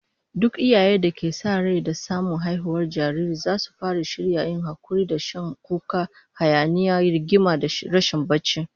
Duk iyayen da ke sa rai da samun haihuwar jariri zasu fara shirya yin hakuri da shan kuka, hayaniya, rigima da rashin barci